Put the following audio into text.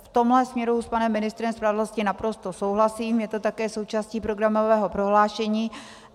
V tomhle směru s panem ministrem spravedlnosti naprosto souhlasím, je to také součástí programového prohlášení.